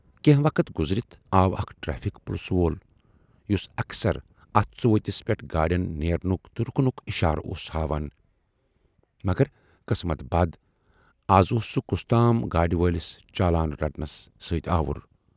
کینہہ وقت گُذرِتھ آو اکھ ٹریفِک پُلسہٕ وول یُس اکثر اتھ ژُؤتِس پٮ۪ٹھ گاڑٮ۪ن نیرنُک تہٕ رُکنُک اِشارٕ اوس ہاوان، مگر قسمٕتہِ بَد از اوس سُہ کَستام گاڑِ وٲلِس چالان رٹنَس سۭتۍ آوُر۔